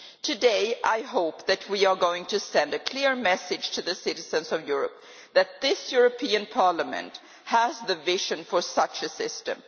Today I hope that we are going to send a clear message to the citizens of Europe that this European Parliament has the vision for such a system.